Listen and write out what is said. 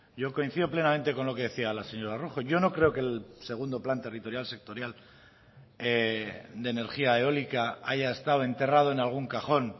yo coincido plenamente con lo que decía la señora rojo yo no creo que el segundo plan territorial sectorial de energía eólica haya estado enterrado en algún cajón